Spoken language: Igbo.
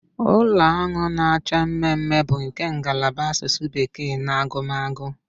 Ụlọ ahụ na-acha mmemme bụ nke ngalaba Asụsụ bekee na agụmagụ